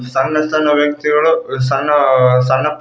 ಸಣ್ಣ ಸಣ್ಣ ವ್ಯಕ್ತಿಗಳು ಸಣ್ಣ ಸಣ್ಣ ಪುಟ್ಟ--